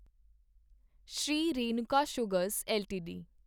Shri Renuka sugars LTD